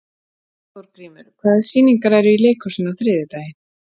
Þórgrímur, hvaða sýningar eru í leikhúsinu á þriðjudaginn?